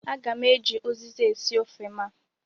Aga m eji uziza esi ofe m a.